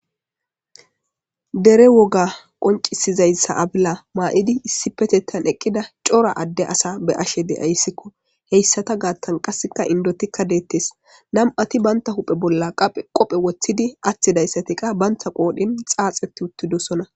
DEre woga qonccisizayssa afila ma'idi issipetettan eqqida cora adde asa be'ashe de'ayssiko. Heyssata gaattan qassikka inddoti deetes. Nami'ati banta huphe bolla qophe aththidayssatikka qa banta qoodhen xaaxeti uttidosona.